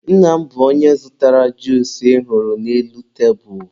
nna m bụ onye zụtara juusu ị hụrụ n'elu tebulu